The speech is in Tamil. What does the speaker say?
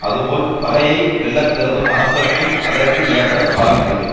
அது போல் பகையை வெல்லக்கருதும் அரசர்க்கும் அதற்கு ஏற்ற காலம் வேண்டும்